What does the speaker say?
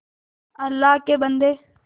अल्लाह के बन्दे